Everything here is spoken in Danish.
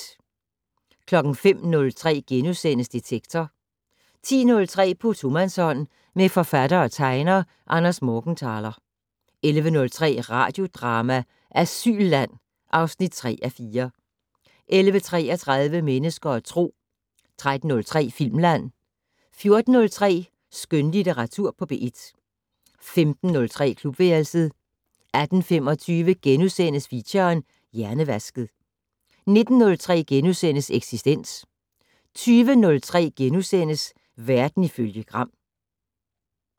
05:03: Detektor * 10:03: På tomandshånd med forfatter og tegner Anders Morgenthaler 11:03: Radiodrama: Asylland (3:4) 11:33: Mennesker og Tro 13:03: Filmland 14:03: Skønlitteratur på P1 15:03: Klubværelset 18:25: Feature: Hjernevasket * 19:03: Eksistens * 20:03: Verden ifølge Gram *